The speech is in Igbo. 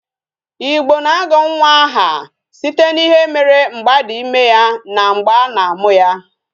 Igbo na-agọ nwa aha site n'ihe mere mgbe a dị ime ya na mgbe a na amụ ya